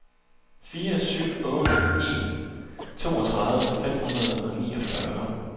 fire syv otte en toogtredive fem hundrede og niogfyrre